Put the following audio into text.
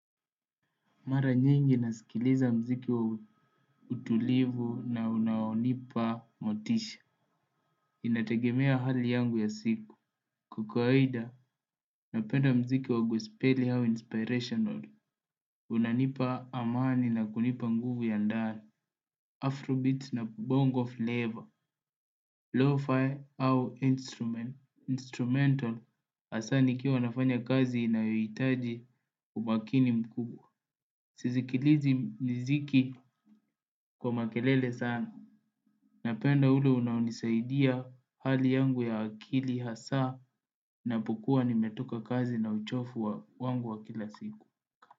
Mara nyingi nasikiliza mziki wa utulivu na unaonipa motisha. Inategemea hali yangu yangu ya siku. Kwa kawaida, napenda mziki wa gospeli au inspirational. Unanipa amani na kunipa nguvu ya ndani. Afrobeats na bongo flavor. Lo-fi au instrument Instrumental. Asaa nikiwa nafanya kazi inayoitaji umakini mkubwa. Sizikilizi miziki kwa makelele sana. Napenda ule unaonisaidia hali yangu ya akili hasaa ninapokua nimetoka kazi na uchofu wa wangu wa kila siku.